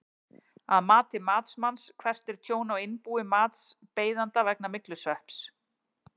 Að mati matsmanns, hvert er tjón á innbúi matsbeiðanda vegna myglusvepps?